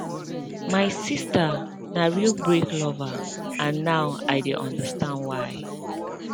my sister na real break lover and now i dey understand why